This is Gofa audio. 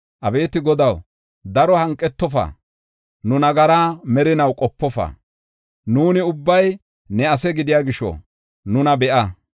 Abeeti Godaw, daro hanqetofa; nu nagaraa merinaw qopofa. Nuuni ubbay ne ase gidiya gisho, nuna be7a.